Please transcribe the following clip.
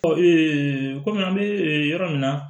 Ɔ kɔmi an bɛ yɔrɔ min na